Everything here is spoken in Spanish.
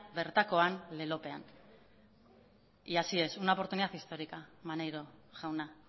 bertakoan lelopean y así es una oportunidad histórica maneiro jauna